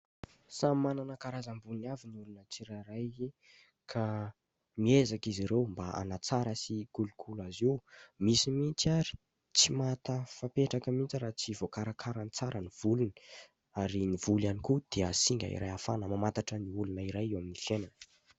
Samy manana karazam-bolony avy ny olona tsirairay ka miezaka izy ireo mba hanatsara sy hikolokolo azy io. Misy mihitsy aza tsy mahatafapetraka mihitsy raha tsy voakarakarany tsara ny volony ary ny volo ihany koa dia singa iray ahafahana mamantatra ny olona iray eo amin'ny fiainany.